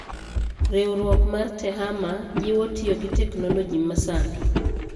Riwruok mar Tehama: Jiwo tiyo gi teknoloji masani.